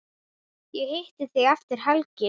Ég hitti þig eftir helgi.